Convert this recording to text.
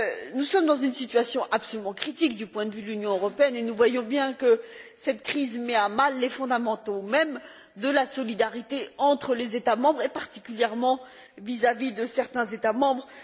Nous sommes dans une situation absolument critique du point de vue de l'Union européenne et nous voyons bien que cette crise met à mal les fondamentaux mêmes de la solidarité entre les États membres et particulièrement vis à vis de certains États membres.